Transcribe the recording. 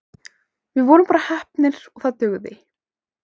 Við vorum bara heppnir og það dugði.